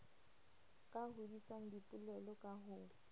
ka hodisang dipoelo ka ho